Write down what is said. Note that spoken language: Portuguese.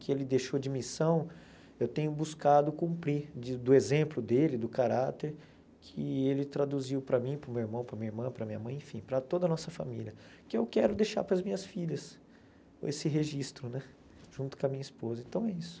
que ele deixou de missão, eu tenho buscado cumprir, de do exemplo dele, do caráter, que ele traduziu para mim, para o meu irmão, para a minha irmã, para a minha mãe, enfim, para toda a nossa família, que eu quero deixar para as minhas filhas, esse registro né, junto com a minha esposa, então é isso.